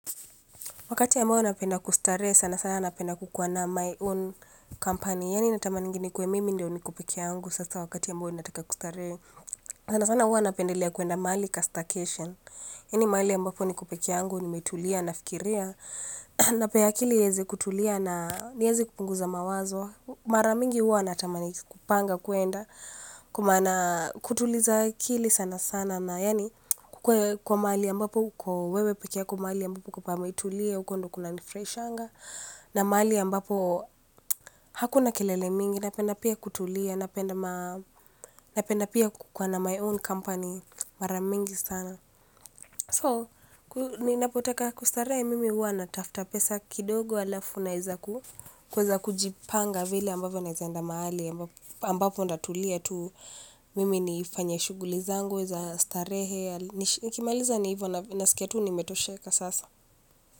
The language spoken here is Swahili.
Wakati ambao napenda kustarehe sana sana napenda kukua na my own company. Yani natamaningi nikuwe mimi ndio niko pekeyangu sasa wakati ambao nataka kustarehe sana sana hua napendelea kuenda mahali ka staycation hii ni mahali ambapo niko peke yangu nimetulia nafikiria. Napea akili ieze kutulia na nieze kupunguza mawazo. Maramingi hua natamani kupanga kuenda. Kutuliza akili sana sana na yani kukue kwa mahali ambapo uko wewe pekeyako mahali ambapo pametulia huko ndo kuna nifurahishanga na mahali ambapo hakuna kelele mingi napenda pia kutulia napenda pia kukaa na my own company mara mingi sana so ninapotaka kustarehe mimi uwa natafuta pesa kidogo alafu naeza kuweza kujipanga vile ambavyo naeza enda mahali ambapo ntatulia tu mimi nifanye shughuli zangu za starehe nikimaliza ni hivyo naskia tu nimetosheka sasa.